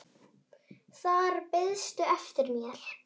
Þar beiðstu eftir mér.